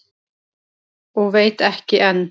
Og veit ekki enn.